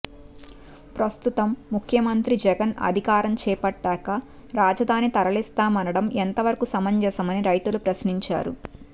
ప్రస్తుతం ముఖ్యమంత్రి జగన్ అధికారం చేపట్టాక రాజధాని తరలిస్తామనడం ఎంతవరకు సమంజసమని రైతులు ప్రశ్నించారు